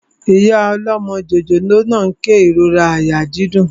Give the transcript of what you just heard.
Ìyá ọlọ́mọ jòjòló náà n kérora àyà dídùn